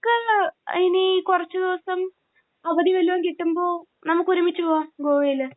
നമുക്ക് ഇനി കുറച്ച് ദിവസം അവധി വല്ലോം കിട്ടുമ്പോൾ നമുക്കൊരുമിച്ച് പോവാം ഗോവയിൽ.